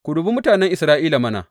Ku dubi mutanen Isra’ila mana.